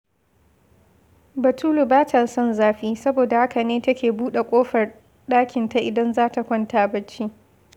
Batulu ba ta son zafi, soboda haka ne take buɗe ƙofar ɗikinta idan za ta kwanta barci